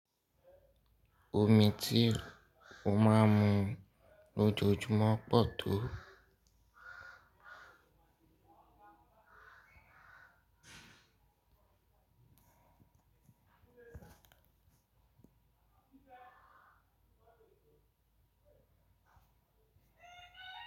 Omi tí o máa ń mu lójoojúmọ́ pọ̀ tó.